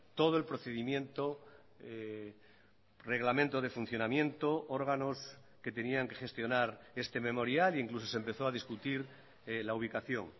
todo el procedimiento reglamento de funcionamiento órganos que tenían que gestionar este memorial incluso se empezó a discutir la ubicación